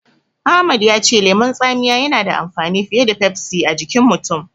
Ahmad ya ce lemon tsamiya yana da amfani fiye da Pepsi a jikin mutum.